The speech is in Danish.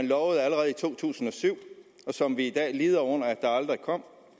lovede allerede i to tusind og syv og som vi i dag lider under aldrig kom